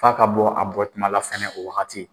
F'a ka bɔ a bɔ kumala fɛnɛ o wagati